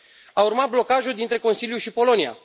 A urmat blocajul dintre Consiliu și Polonia.